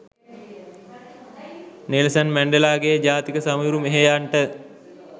Nelson මැන්ඩෙලාගේ ජාතික සමරු මෙහෙයන්ට